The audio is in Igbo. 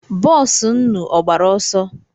Boosu nnu ọ gbara ọsọ?